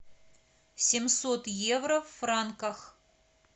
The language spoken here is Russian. семьсот евро в франках